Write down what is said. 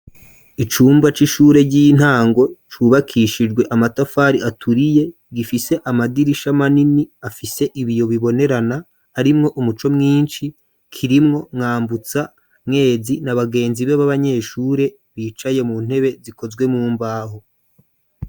Icumba c'ishure ry'intango cubakishijwe amatafari aturiye ,gifise amadirisha manini afise ibiyo bibonerana arimwo umuco mwinshi, kirimwo Mwambutsa Mwezi nabagenzi be b'abanyeshure bicaye mu ntebe zikozwe mumbaho.